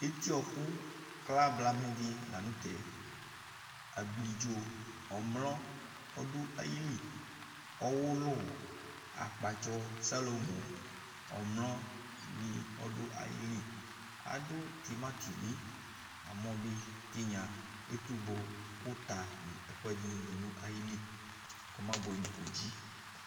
Eto wɔku kla blamɛ dila nu tɛ Ablidzo ɔmlɔ ni du ayili ɔwulu akpatsu salomɔ ɔmlɔ ni ɔdu ayili Agbɔ uta nɛkuedini du nayili kɔma buɛ nɔdzi